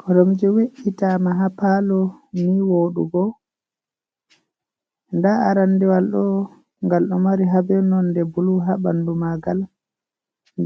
Koromje we’itama ha palo ni woɗugo, nda arandewal ɗo gal ɗo mari habe non de bulu ha ɓandu magal